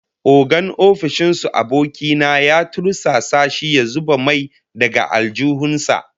Ogan ofishin su aboki na ya tursasa shi ya zuba mai daga aljihun sa